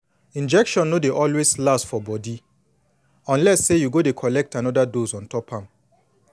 injection no dey always last for for body unless say you go dey collect anoda dose ontop am